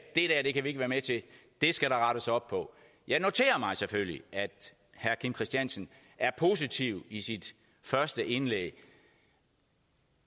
det kan vi ikke være med til det skal der rettes op på jeg noterer mig selvfølgelig at herre kim christiansen er positiv i sit første indlæg